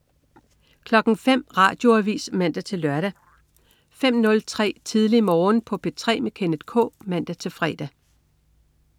05.00 Radioavis (man-søn) 05.03 Tidlig Morgen på P3 med Kenneth K (man-fre)